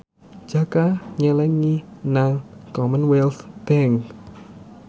Jaka nyelengi nang Commonwealth Bank